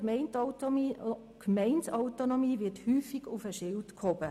Die Gemeindeautonomie wird häufig auf den Schild gehoben.